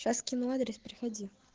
сейчас скину адрес приходи